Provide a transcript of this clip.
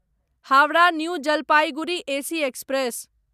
Howrah new Jalpaiguri AC express